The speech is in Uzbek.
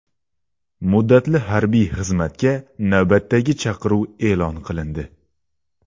Muddatli harbiy xizmatga navbatdagi chaqiruv eʼlon qilindi.